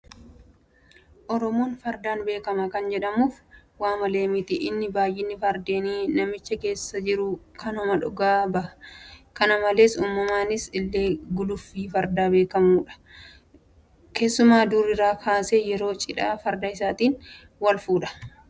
Oromoon Fardaan beekama kan jedhamuuf waamalee miti. Inni baay'inni Fardeenii naannicha keessa jiru kanuma dhugaa baha. Kana malees uummannisaa illee guluffii fardaa waanbeekuuf irraa bareeda. Keessumaa durii kaasee yeroo Cidhaa Farda isaatiin walfuudha. Akka aadaatti Sagantaaleen taphni Fardaa irratti mul'atu kam fa'aati?